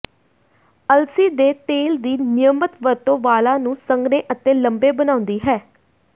ਅਲਸੀ ਦੇ ਤੇਲ ਦੀ ਨਿਯਮਤ ਵਰਤੋਂ ਵਾਲਾਂ ਨੂੰ ਸੰਘਣੇ ਅਤੇ ਲੰਬੇ ਬਣਾਉਂਦੀ ਹੈ